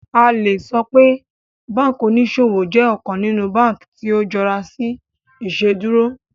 A le sọ pe banki oniṣowo jẹ ọkan ninu banki ti o jọra si Iṣeduro